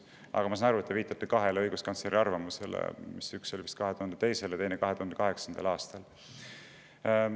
Aga ma saan aru, et te viitate kahe õiguskantsleri arvamusele, üks oli vist 2002. ja teine 2008. aastal.